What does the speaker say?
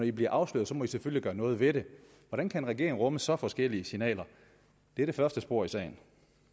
i bliver afsløret må i selvfølgelig gøre noget ved det hvordan kan en regering rumme så forskellige signaler det er det første spor i sagen